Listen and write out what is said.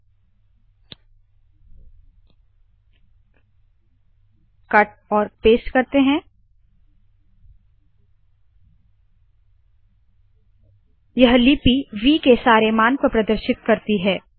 व 1 5 3 four X व डिस्प इंड यह लिपि व के सारे मान को प्रदर्शित करती है